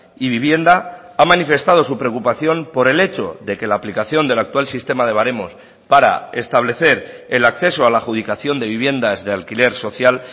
y vivienda ha manifestado su preocupación por el hecho de que la aplicación del actual sistema de varemos para establecer el acceso a la adjudicación de viviendas de alquiler social